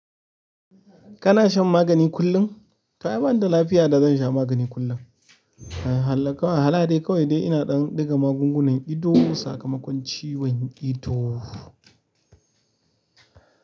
Kana shan magani kullum? To ai banda lafiya da zan sha magani kullum hala dai kawai dai ina ɗan ɗiga magungunan ido sakamakon ciwon ido.